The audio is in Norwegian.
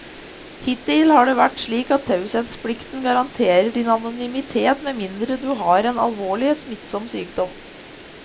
Hittil har det vært slik at taushetsplikten garanterer din anonymitet med mindre du har en alvorlig, smittsom sykdom.